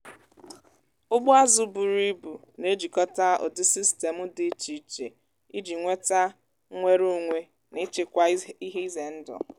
ụgbọ azụ buru ibu na-ejikọta ụdị sistemụ dị iche iche iji nweta nnwere onwe na ịchịkwa ihe ize ndụ.